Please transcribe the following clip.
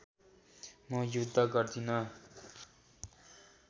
म युद्ध गर्दिन